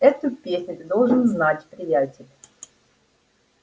эту песню ты должен знать приятель